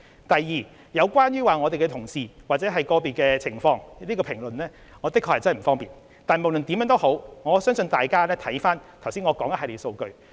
第二，有關我們的同事或個別個案的情況，我確實不方便作出評論，但不論如何，相信大家可以參考我剛才提出的一系列數據。